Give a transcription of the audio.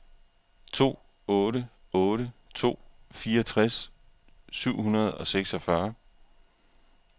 to otte otte to fireogtres syv hundrede og seksogfyrre